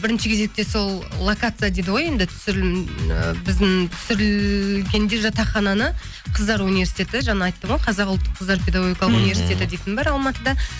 бірінші кезекте сол локация дейді ғой енді түсірілім ы біздің түсірілгенде жатақхананы қыздар университеті жаңа айттым ғой қазақ ұлттық қыздар педагогикалық университеті дейтін бар алматыда